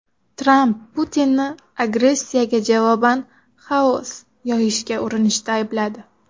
Tramp Putinni agressiyaga javoban xaos yoyishga urinishda aybladi.